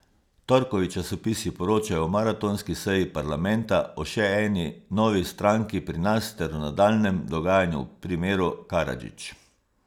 Torkovi časopisi poročajo o maratonski seji parlamenta, o še eni novi stranki pri nas ter o nadaljnjem dogajanju v primeru Karadžić.